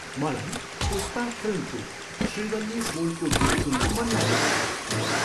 मलाई पुष्पा फिल्मको श्रीवल्ली बोलको गीत सुन्न मन लागेको छ।